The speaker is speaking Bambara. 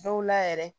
Dɔw la yɛrɛ